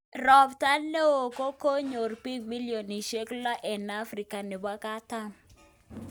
Ropta neo kokonyor pik millionishek lo en afrika nepo katam